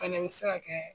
Fɛnɛ bɛ se ka kɛ